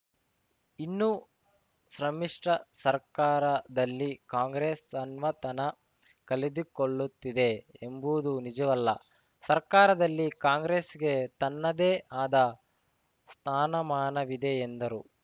ಇನ್ನು ಸಮ್ಮಿಶ್ರ ಸರ್ಕಾರದಲ್ಲಿ ಕಾಂಗ್ರೆಸ್‌ ತನ್ನತನ ಕಳೆದುಕೊಳ್ಳುತ್ತಿದೆ ಎಂಬುದು ನಿಜವಲ್ಲ ಸರ್ಕಾರದಲ್ಲಿ ಕಾಂಗ್ರೆಸ್‌ಗೆ ತನ್ನದೇ ಆದ ಸ್ಥಾನಮಾನವಿದೆ ಎಂದರು